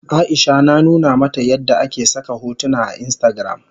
Aisha na nuna mata yadda ake saka hotuna a instagram.